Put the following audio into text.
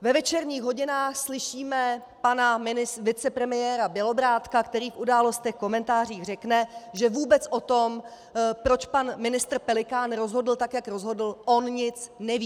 Ve večerních hodinách slyšíme pana vicepremiéra Bělobrádka, který v Událostech, komentářích řekne, že vůbec o tom, proč pan ministr Pelikán rozhodl tak, jak rozhodl, on nic neví.